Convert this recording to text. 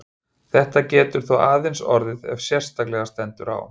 Þetta getur þó aðeins orðið ef sérstaklega stendur á.